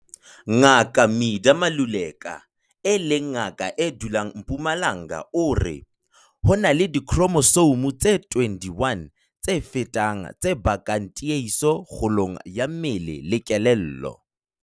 Ngaka Midah Maluleka, e leng ngaka e dulang Mpumalanga o re - "Ho na le dikhromosome tse 21 tse fetang tse bakang tiehiso kgolong ya mmele le kelello".